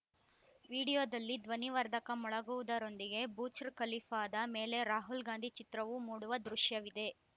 ವಿಡಿಯೋದಲ್ಲಿ ಧ್ವನಿವರ್ಧಕ ಮೊಳಗುವುದರೊಂದಿಗೆ ಬುರ್ಜ್ ಖಲೀಫಾದ ಮೇಲೆ ರಾಹುಲ್‌ ಗಾಂಧಿ ಚಿತ್ರವು ಮೂಡುವ ದೃಶ್ಯವಿದೆ